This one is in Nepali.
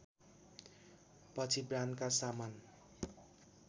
पछि ब्रान्डका सामान